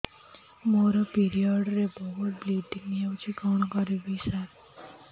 ମୋର ପିରିଅଡ଼ ରେ ବହୁତ ବ୍ଲିଡ଼ିଙ୍ଗ ହଉଚି କଣ କରିବୁ ସାର